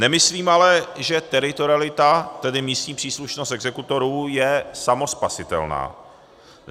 Nemyslím ale, že teritorialita, tedy místní příslušnost exekutorů, je samospasitelná.